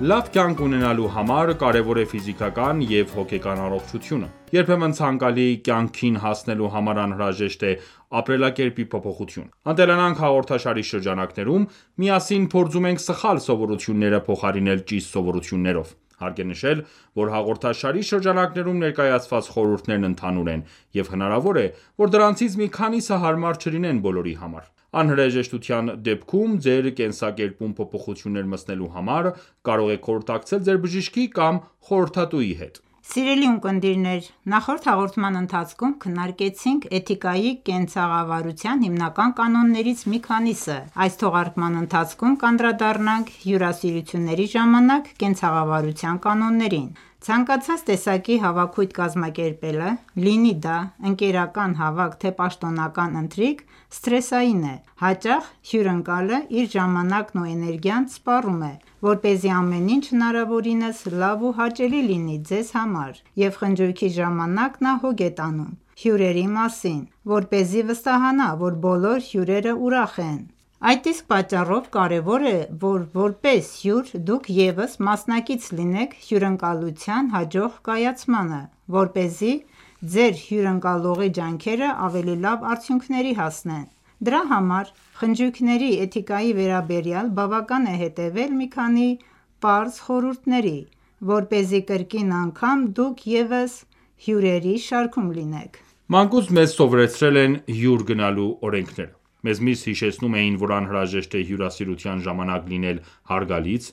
Լավ կյանք ունենալու համար կարևոր է ֆիզիկական և հոգեկան առողջությունը։ Երբեմն ցանկալի կյանքին հասնելու համար անհրաժեշտ է ապրելակերպի փոփոխություն։ «Ընտելանանք» հաղորդաշարի շրջանակներում միասին փորձում ենք սխալ սովորությունները փոխարինել ճիշտ սովորություններով։ Հարկ է նշել, որ հաղորդաշարի շրջանակներում ներկայացված խորհուրդներն ընդհանուր են, և հնարավոր է, որ դրանցից մի քանիսը հարմար չլինեն բոլորի համար: Անհրաժեշտության դեպքում ձեր կենսակերպում փոփոխություններ մտցնելու համար կարող եք խորհրդակցել ձեր բժշկի կամ խորհրդատուի հետ: Ողջույն, սիրելի ունկնդիրներ, նախորդ հաղորդման ընթացքում քննարկեցինք «էթիկայի»կենցաղավարության հիմնական կանոններից մի քանիսը: Այս թողարկման ընթացքում կանդրադառնանք հյուրասիրությունների ժամանակ կենցաղավարության կանոններին: Ցանկացած տեսակի հավաքույթ կազմակերպելը, լինի դա ընկերական հավաք, թե պաշտոնական ընթրիք, սթրեսային է: Հաճախ հյուրընկալը իր ժամանակն ու էներգիան սպառում է, որպեսզի ամեն ինչ հնարավորինս լավ ու հաճելի լինի ձեզ համար և խնջույքի ժամանակ նա հոգ է տանում հյուրերի մասին, որպեսզի վստահանա ,որ բոլոր հյուրերը ուրախ են: Այդ իսկ պատճառով կարևոր է, որ որպես հյուր դուք ևս մասնակից լինեք հյուրընկալության հաջող կայացմանը ,որպեսզի ձեր հյուրընկալողի ջանքերը ավելի լավ արդյունքների հասնեն: Դրա համար, խնջույքների էթիկայի վերաբերյալ բավական է հետևել մի քանի պարզ խորհուրդների, որպեսզի կրկին անգամ դուք ևս հյուրերի շարքում լինեք: Մանկուց մեզ սովորեցրել են հյուր գնալու օրենքները: Մեզ միշտ հիշեցնում էին ,որ անհրաժեշտ է հյուրասիրության ժամանակ լինել հարգալից,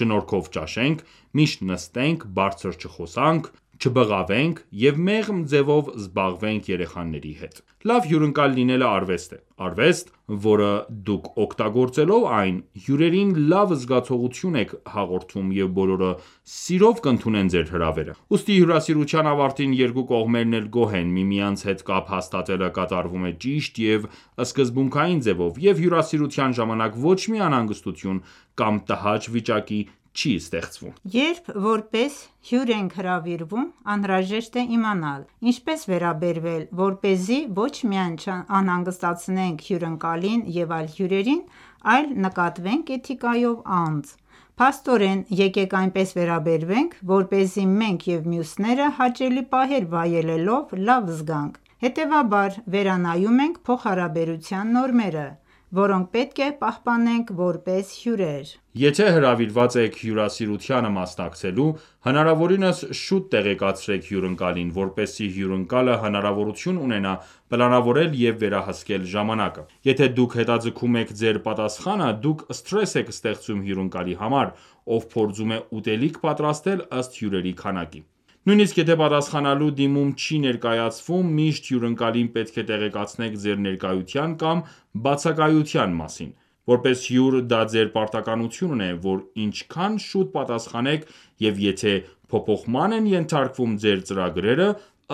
շնորքով ճաշենք, ճիշտ նստենք ,բարձր չխոսանք ,չբղավենք ,և մեղմ ձևով զբաղվենք երեխաների հետ :Լավ հյուրընկալ լինելը ,արվեստ է: Արվեստ, որը դուք օգտագործելով այն, հյուրերին լավ զգացողություն եք հաղորդում և բոլորը սիրով կընդունեն ձեր հրավերը, ուստի հյուրասիրության ավարտին երկու կողմերն էլ գոհ են, միմյանց հետ կապ հաստատելը կատարվում է ճիշտ և սկզբունքային ձևով և հյուրասիրության ժամանակ ոչ մի անհանգստություն կամ տհաճ վիճակ չի ստեղծվում: Երբ որպես հյուր ենք հրավիրվում ,անհրաժեշտ է իմանալ ,ինչպես վերաբերվել ,որպեսզի ոչ միայն չանհանգստացնենք հյուրընկալին և այլ հյուրերին ,այլ նկատվենք Էտիկայով անձ: Փաստորեն, եկեք այնպես վերաբերվենք, որպեսզի մենք և մյուսները հաճելի պահեր վայելելով լավ զգանք: Հետևաբար, վերանայում ենք փոխհարաբերության նորմերը, որոնք պետք է պահպանենք որպես հյուրեր: Եթե հրավիրված եք հյուրասիրությանը մասնակցելու, հնարավորինս շուտ տեղեկացրեք հյուրընկալին, որպեսզի հյուրընկալը հնարավորություն ունենա պլանավորել և վերահսկել ժամանակը: Երբ դուք հետաձգում եք ձեր պատասխանը, դուք սթրես եք ստեղծում հյուրընկալի համար, ով փորձում է ուտելիք պատրաստել ըստ հյուրերի քանակի: Նույնիսկ եթե պատասխանելու դիմում չի ներկայացվում ,միշտ հյուընկալին պետք է տեղեկացնեք ձեր ներկայության կամ բացակայության մասին:Որպես հյուր դա ձեր պարտականությունն է ,որ ինչքան շուտ պատասխանեք և եթե փոփոխման են ենթարկվում ձեր ծրագրերը,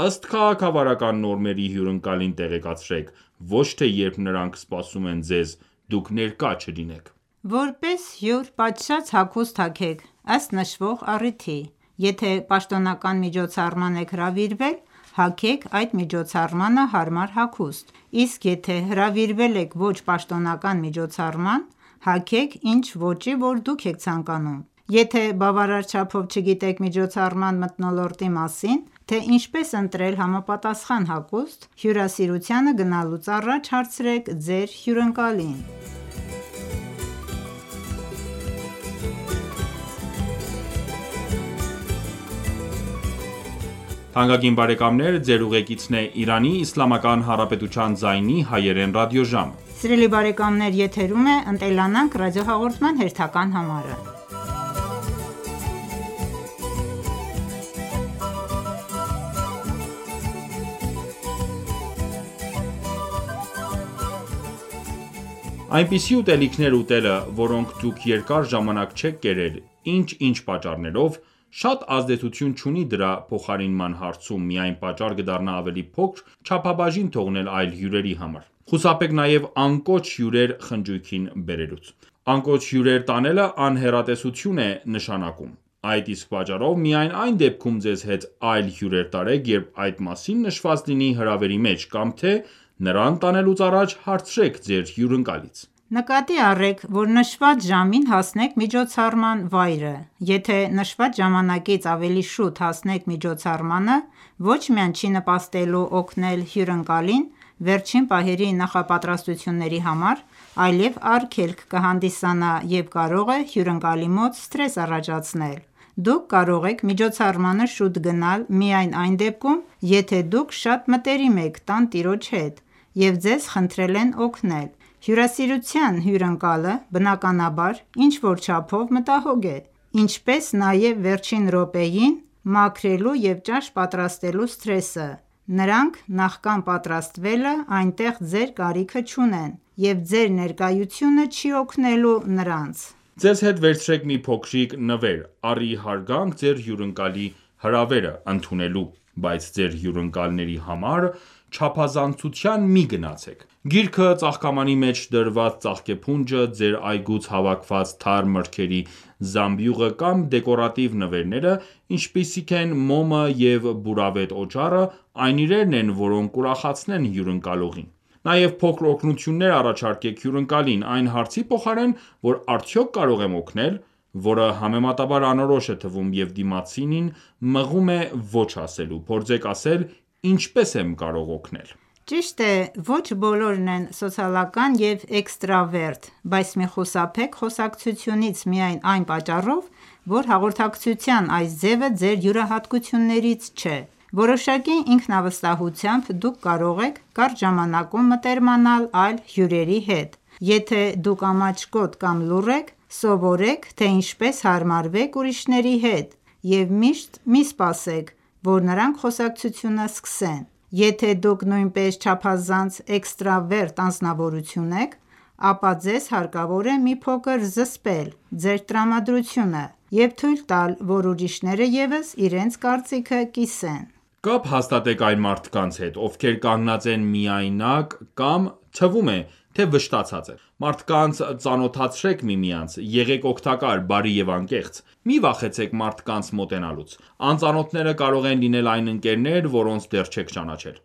ըստ քաղաքավարական նորմերի հյուրընկալին տեղեկացրեք ,ոչ թե երբ նրանք սպասում են ձեզ ,դուք ներկա չլինեք: Որպես հյուր պատշաճ հագուստ հագեք ,ըստ նշվող առիթի:Եթե պաշտոնական միջոցառման եք հրավիրվել ,հագեք այդ միջոցառմանը հարմար հագուստ ,իսկ եթե հրավիրվել եք ոչ պաշտոնական միջոցառման ,հագեք ինչ ոճի ,որ դուք եք ցանկանում: Եթե բավարար չափով չգիտեք միջոցառման մթնոլորտի մասին ,թե ինչպես ընտրել համապատասխան հագուստ, հյուրասիրությանը գնալուց առաջ հարցրեք ձեր հյուրընկալին: Այնպիսի ուտելիքներ ուտելը, որոնք դուք երկար ժամանակ չեք կերել, ինչ-ինչ պատճառներով, շատ ազդեցություն չունի դրա փոխարինման հարցում, միայն պատճառ կդառնա ավելի փոքր չափաբաժին թողնել այլ հյուրերի համար: Խուսափեք նաև անկոչ հյուրեր խնջույքին բերելուց։ Անկոչ հյուրեր տանելը ,անհեռատեսություն է նշանակում: Այդ իսկ պատճառով միայն այն դեպքում ձեզ հետ այլ հյուր տարեք ,երբ այդ մասին նշված լինի հրավերի մեջ, կամ թե նրան տանելուց առաջ հարցրեք ձեր հյուրընկալից: Նկատի առեք ,որ նշված ժամին հասնեք միջոցառման վայրը: Եթե նշված ժամանակից ավելի շուտ հասնեք միջոցառմանը, ոչ միայն չի նպաստելու օգնել հյուրընակլին ,վերջին պահերի նախապատրաստությունների համար ,այլև արգելք կհանդիսանա և կարող է հյուրընկալի մոտ սթրես առաջացնել։ Դուք կարող եք միջոցառմանը շուտ գնալ միայն այն դեպքում, եթե դուք շատ մտերիմ եք տանտիրոջ հետ և ձեզ խնդրել են օգնել: Հյուրասիրության հյուրընկալը, բնականաբար, ինչ որ չափով մտահոգ է, ինչպես նաև վերջին րոպեին մաքրելու և ճաշ պատրաստելու սթրեսը, նրանք ,նախքան պատրաստվելը այնտեղ ձեր կարիքը չունեն և ձեր ներկայությունը չի օգնելու նրանց: Ձեզ հետ վերցրեք մի փոքրիկ նվեր, առ ի հարգանք ձեր հյուրընկալի հրավերը՝ ընդունելու ,բայց ձեր հյուրընկալների համար չափազանցության մի գնացեք: Գիրքը, ծաղկամանի մեջ դրված ծաղկեփունջը, ձեր այգուց հավաքված թարմ մրգերի զամբյուղը կամ դեկորատիվ նվերները, ինչպիսիք են մոմը և բուրավետ օճառը, այն իրերն են, որոնք կուրախացնեն հյուրընկալողին:Նաև փոքր օգնություններ առաջարկեք հյուրընկալին:Այն հարցի փոխարեն, որ արդյոք կարող եմ օգնել, որը համեմատաբար անորոշ է թվում և դիմացինին մղում է ոչ ասելու ,փորձեք ասել ի՞նչպես եմ կարող օգնել: Ճիշտ է, ոչ բոլորն են սոցիալական և էքստրավերտ, բայց մի խուսափեք խոսակցությունից միայն այն պատճառով, որ հաղորդակցության այս ձևը ձեր յուրահատկություններից չէ: Որոշակի ինքնավստահությամբ դուք կարող եք կարճ ժամանակում մտերմանալ այլ հյուրերի հետ: Եթե դուք ամաչկոտ կամ լուռ եք, սովորեք, թե ինչպես հարմարվեք ուրիշների հետ և միշտ մի սպասեք, որ նրանք խոսակցությունը սկսեն: Եթե դուք նույնպես չափազանց էքստրավերտ անձնավորություն եք, ապա ձեզ հարկավոր է մի փոքր զսպել ձեր տրամադրությունը և թույլ տալ, որ ուրիշները ևս իրենց կարծիքը կիսեն: Կապ հաստատեք այն մարդկանց հետ, ովքեր կանգնած են միայնակ կամ թվում է, թե վշտացած են: Մարդկանց ծանոթացրեք միմյանց: Եղեք օգտակար, բարի և անկեղծ: Մի վախեցեք մարդկանց մոտենալուց: Անծանոթները կարող են լինել այն ընկերներ, որոնց դեռ չեք ճանաչել: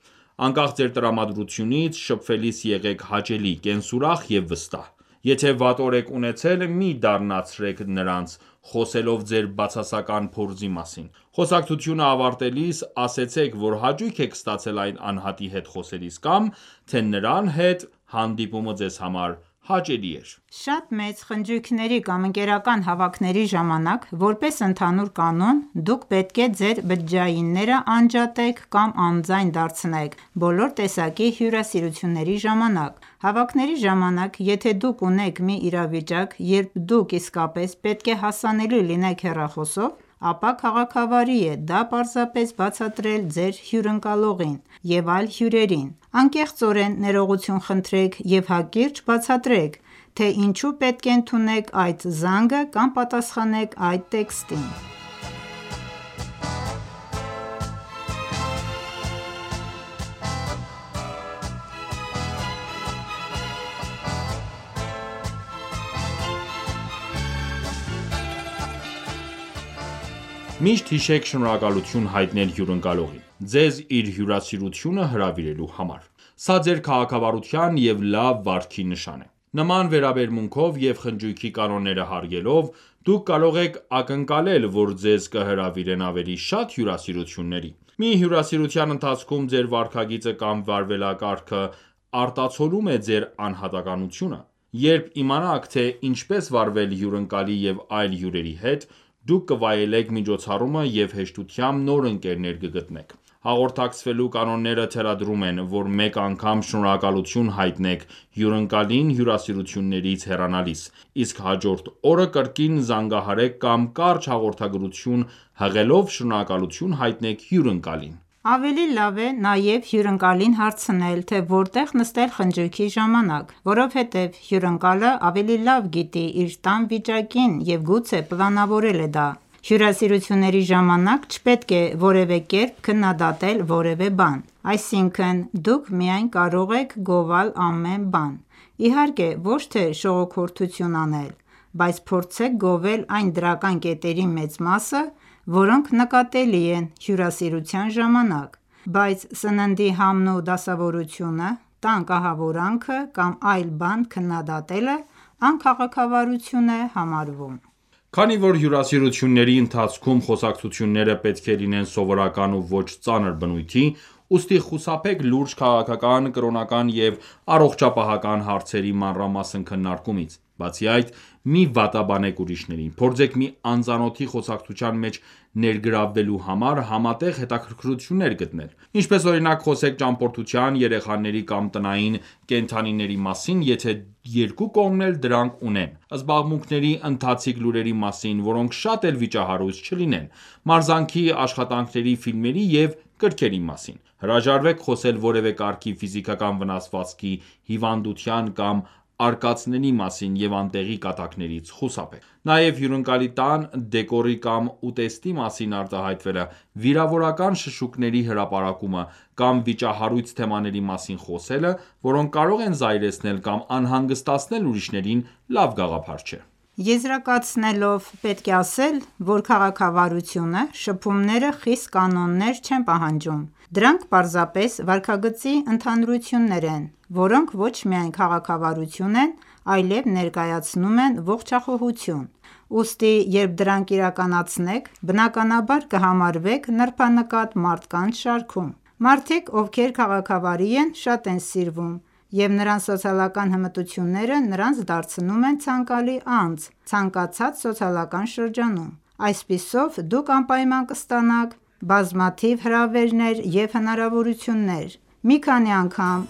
Անկախ ձեր տրամադրությունից, շփվելիս եղեք հաճելի, կենսուրախ և վստահ: Եթե վատ օր եք ունեցել, մի դառնացրեք նրանց՝ խոսելով ձեր բացասական փորձի մասին:Խոսակցությունը ավարտելիս ,ասացեք որ հաճույք եք ստացել այդ անհատի հետ խոսելիս ,կամ թե նրա հետ հանդիպումը ձեզ համար հաճելի էր: Շատ մեծ խնջույքների կամ ընկերական հավաքների ժամանակ, որպես ընդհանուր կանոն, դուք պետք է ձեր բջջայինները անջատեք կամ անձայն դարձնեք բոլոր տեսակի հյուրասիրությունների ժամանակ: Հավաքների ժամանակ, եթե դուք ունեք մի իրավիճակ, երբ դուք իսկապես պետք է հասանելի լինեք հեռախոսով, ապա քաղաքավարի է դա պարզապես բացատրել ձեր հյուրընկալողին և այլ հյուրերին: Անկեղծորեն ներողություն խնդրեք և հակիրճ բացատրեք, թե ինչու պետք է ընդունեք այդ զանգը կամ պատասխանեք այդ տեքստին: Միշտ հիշեք շնորհակալություն հայտնել հյուրընկալողին՝ ձեզ իր հյուրասիրությանը հրավիրելու համար: Սա ձեր քաղաքավարության և լավ վարքի նշան է: Նման վերաբերմունքով և խնջույքի կանոնները հարգելով, դուք կարող եք ակնկալել, որ ձեզ կհրավիրեն ավելի շատ հյուրասիրությունների: Մի հյուրասիրության ընթացքում ձեր վարքագիծը կամ վարվելակարգը արտացոլում է ձեր անհատականությունը: Երբ իմանաք, թե ինչպես վարվել հյուրընկալի և այլ հյուրերի հետ, դուք կվայելեք միջոցառումը և հեշտությամբ նոր ընկերներ կգտնեք: Հաղորդակցվելու կանոնները թելադրում են, որ մեկ անգամ շնորհակալություն հայտնեք հյուրընկալին հյուրասիրությունից հեռանալիս, իսկ հաջորդ օրը կրկին զանգահարեք կամ կարճ հաղորդագրություն հղելով շնորհակալություն հայտնեք հյուրընկալին: Ավելի լավ է նաև հյուրընկալին հարցնել, թե որտեղ նստել խնջույքի ժամանակ: Որովհետև հյուրընկալը ավելի լավ գիտի իր տան վիճակին և գուցե պլանավորել է դա: Հյուրասիրությունների ժամանակ չպետք է որևէ կերպ քննադատել որևէ բան: Այսինքն դուք միայն կարող եք գովալ ամեն բան, իհարկե ոչ թե՝շողոքորթություն անել, բայց փորձեք գովել այն դրական կետերի մեծ մասը, որոնք նկատելի են հյուրասիրության ժամանակ: Բայց սննդի համն ու դասավորությունը, տան կահավորանքը կամ այլ բան քննադատելը անքաղաքավարություն է համարվում: Քանի որ հյուասիրությունների ընթացքում խոսակցությունները պետք է լինեն սովորական ու ոչ ծանր բնույթի ,ուստի, խուսափեք լուրջ քաղաքական, կրոնական և առողջապահական հարցերի մանրամասն քննարկումից։ Բացի այդ, մի վատաբանեք ուրիշներին: Փորձեք մի անծանոթի խոսակցության մեջ ներգրավելու համար ,համատեղ հետաքրքրություններ գտնել: Ինչպես օրինակ խոսեք ճամփորդության, երեխաների, կամ տնային կենդանիների մասին ,եթե երկու կողմն էլ դրանք ունենան ,զբաղմունքների, ընթացիկ լուրերի մասին ,որոնք շատ էլ վիճահարույց չլինեն ,մարզանքի ,աշխատանքների ,ֆիլմերի և գրքերի մասին: Հրաժարվեք խոսել որևէ կարգի ֆիզիկական վնասվածքի, հիվանդության կամ արկածների մասին և անտեղի կատակներից խուսափեք: Նաև հյուրընկալի տան, դեկորի կամ ուտեստի մասին արտահայտվելը, վիրավորական շշուկների հրապարակումը, կամ վիճահարույց թեմաների մասին խոսելը, որոնք կարող են զայրացնել կամ անհանգստացնել ուրիշներին, լավ գաղափար չէ: Եզրակացնելով ,պետք է ասել է, որ քաղաքավարությունը, շփումները խիստ կանոններ չեն պահանջում: Դրանք պարզապես վարքագծի ընդհանրություն են, որոնք ոչ միայն քաղաքավարի են, այլև ներկայացնում են ողջախոհություն: Ուստի, երբ դրանք իրականացնեք, բնականաբար կհամարվեք նրբանկատ մարդկանց շարքում: Մարդիկ, ովքեր քաղաքավարի են, շատ են սիրվում, և նրանց սոցիալական հմտությունները նրանց դարձնում են ցանկալի անձ ցանկացած սոցիալական շրջանում: Այսպիսով, դուք անպայման կստանաք բազմաթիվ հրավերներ և հնարավորություններ՝ մի քանի անգամ